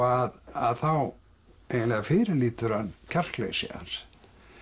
að þá eiginlega fyrirlítur hann kjarkleysi hans